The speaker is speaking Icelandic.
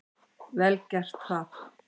Vel gert það.